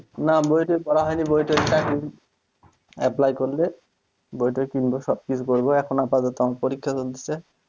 না বই টই পড়া হয়নি বইটোই চাকরি apply করলে বই টয় কিনব সবকিছু করব এখন আপাতত আমার পরীক্ষা চলতেছে